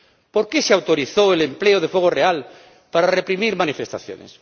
¿Por qué se autorizó el empleo de fuego real para reprimir manifestaciones?